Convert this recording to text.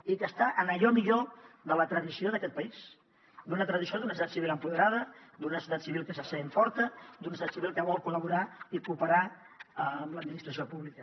i que està en allò millor de la tradició d’aquest país d’una tradició d’un estat civil empoderat d’una societat civil que se sent forta d’un estat civil que vol col·laborar i cooperar amb l’administració pública